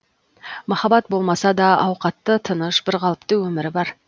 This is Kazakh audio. махаббат болмаса да ауқатты тыныш бірқалыпты өмірі бар